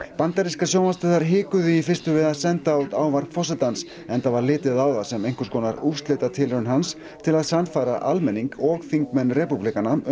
bandarískar sjónvarpsstöðvar hikuðu í fyrstu við að senda út ávarp forsetans enda var litið á það sem einhvers konar úrslitatilraun hans til að sannfæra almenning og þingmenn repúblikana um